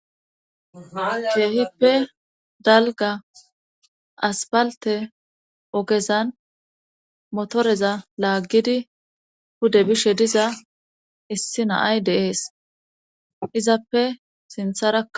keehippe dalga aspalte ogezan motoreza laaggidi hude bishe diza issi naay deees izappe sintharaa